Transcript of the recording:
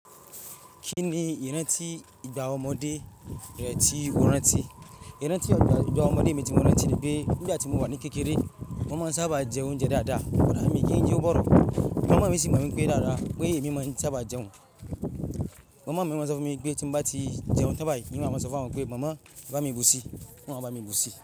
Kí ni ìrántí ìgbà ọmọdé rẹ ti ìwọ rán ti? Ìrántí ọgbà ọmọdé mi tí mo rán ti ni pé nígbà tí mo wà ní kékeré, mo ma ń sábà jẹ oúnjẹ dáadáa, kodá mi kí n yo boro Mama mi sì mọ̀ mí pé dáadáa pé èmi máa ń sábà jẹun. Mama mi máa ń sọ fún mi pé tí bá ti jẹun sábà, ní máa ń sọ fún wọn pé "mama bá mi bùsi", wọn a bá mi bùsi.